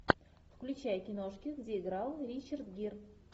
включай киношки где играл ричард гир